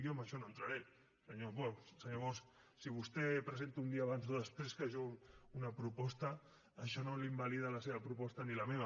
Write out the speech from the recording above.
jo en això no entraré senyor bosch si vostè presenta un dia abans o després que jo una proposta això no invalida la seva proposta ni la meva